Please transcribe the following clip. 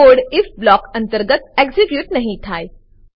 code if block અંતર્ગત execute નહી થાય